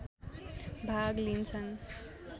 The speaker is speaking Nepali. भाग लिन्छन्